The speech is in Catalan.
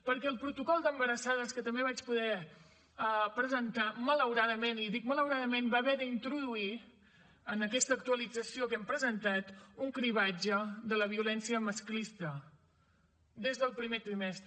perquè el protocol d’embarassades que també vaig poder presentar malauradament i dic malauradament va haver d’introduir en aquesta actualització que hem presentat un cribratge de la violència masclista des del primer trimestre